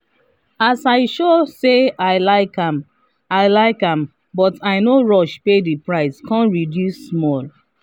i talk soft-soft as i dey try price am for better price